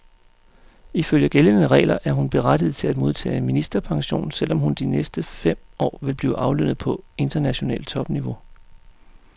Ifølge gældende regler er hun berettiget til at modtage ministerpension, selv om hun de næste fem år vil blive aflønnet på internationalt topniveau.